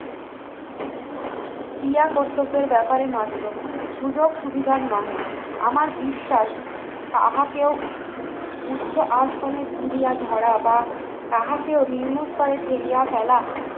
ক্রিয়া কর্তব্যের ব্যাপারে মাত্র সুযোগ সুবিধার নাহে আমার বিশ্বাস তাহাকেও উচ্চ আসনে তুলিয়া ধরা বা তাহাকেও নির্মূল করে ফেলিয়া ফেলা